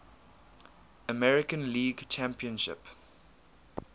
american league championship